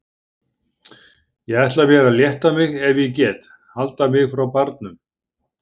Ég ætla mér að létta mig ef ég get, halda mig frá barnum!